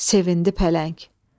Sevindi pələng.